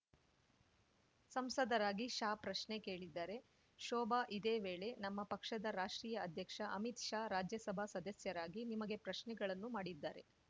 ಸಂಸದರಾಗಿ ಶಾ ಪ್ರಶ್ನೆ ಕೇಳಿದ್ದಾರೆ ಶೋಭಾ ಇದೇ ವೇಳೆ ನಮ್ಮ ಪಕ್ಷದ ರಾಷ್ಟ್ರೀಯ ಅಧ್ಯಕ್ಷ ಅಮಿತ್‌ ಶಾ ರಾಜ್ಯಸಭಾ ಸದಸ್ಯರಾಗಿ ನಿಮಗೆ ಪ್ರಶ್ನೆಗಳನ್ನು ಮಾಡಿದ್ದಾರೆ